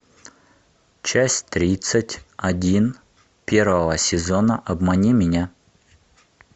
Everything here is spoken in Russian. часть тридцать один первого сезона обмани меня